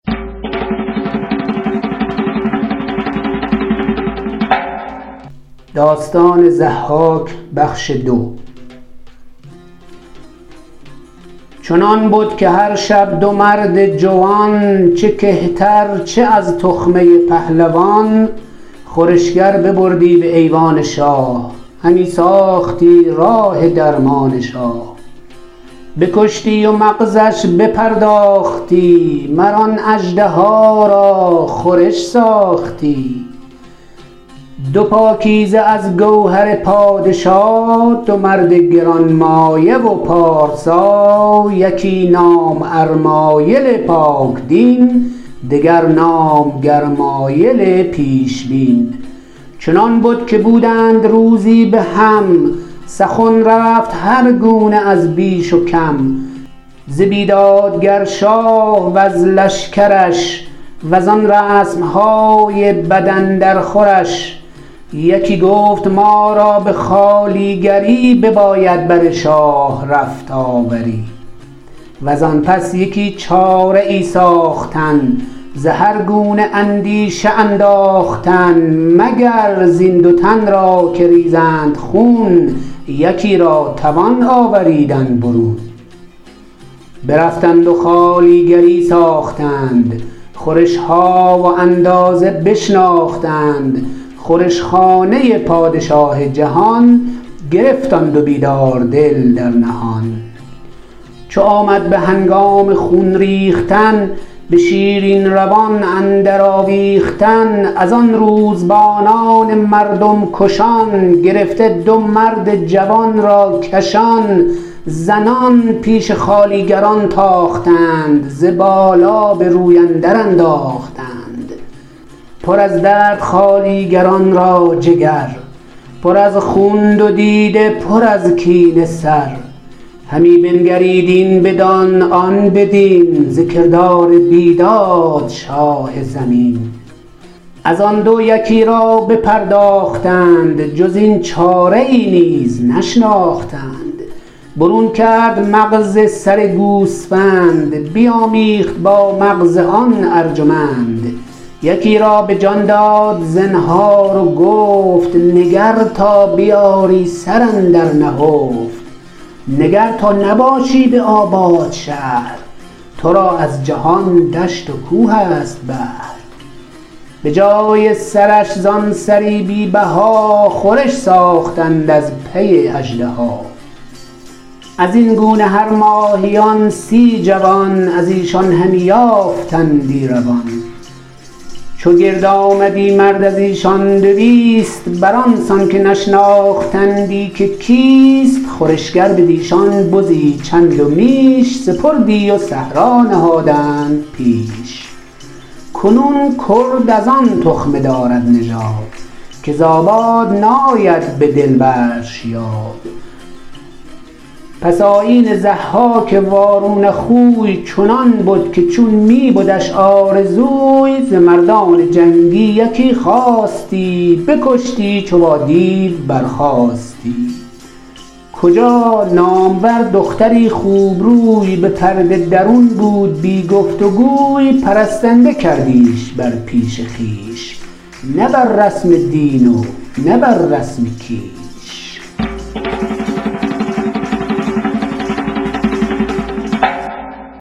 چنان بد که هر شب دو مرد جوان چه کهتر چه از تخمه پهلوان خورشگر ببردی به ایوان شاه همی ساختی راه درمان شاه بکشتی و مغزش بپرداختی مر آن اژدها را خورش ساختی دو پاکیزه از گوهر پادشا دو مرد گرانمایه و پارسا یکی نام ارمایل پاک دین دگر نام گرمایل پیشبین چنان بد که بودند روزی به هم سخن رفت هر گونه از بیش و کم ز بیدادگر شاه وز لشکرش و زان رسم های بد اندر خورش یکی گفت ما را به خوالیگری بباید بر شاه رفت آوری و زان پس یکی چاره ای ساختن ز هر گونه اندیشه انداختن مگر زین دو تن را که ریزند خون یکی را توان آوریدن برون برفتند و خوالیگری ساختند خورش ها و اندازه بشناختند خورش خانه پادشاه جهان گرفت آن دو بیدار دل در نهان چو آمد به هنگام خون ریختن به شیرین روان اندر آویختن از آن روزبانان مردم کشان گرفته دو مرد جوان را کشان زنان پیش خوالیگران تاختند ز بالا به روی اندر انداختند پر از درد خوالیگران را جگر پر از خون دو دیده پر از کینه سر همی بنگرید این بدان آن بدین ز کردار بیداد شاه زمین از آن دو یکی را بپرداختند جز این چاره ای نیز نشناختند برون کرد مغز سر گوسفند بیامیخت با مغز آن ارجمند یکی را به جان داد زنهار و گفت نگر تا بیاری سر اندر نهفت نگر تا نباشی به آباد شهر تو را از جهان دشت و کوه است بهر به جای سرش زان سری بی بها خورش ساختند از پی اژدها از این گونه هر ماهیان سی جوان از ایشان همی یافتندی روان چو گرد آمدی مرد از ایشان دویست بر آن سان که نشناختندی که کیست خورشگر بدیشان بزی چند و میش سپردی و صحرا نهادند پیش کنون کرد از آن تخمه دارد نژاد که ز آباد ناید به دل برش یاد پس آیین ضحاک وارونه خوی چنان بد که چون می بدش آرزوی ز مردان جنگی یکی خواستی بکشتی چو با دیو برخاستی کجا نامور دختری خوبروی به پرده درون بود بی گفت گوی پرستنده کردیش بر پیش خویش نه بر رسم دین و نه بر رسم کیش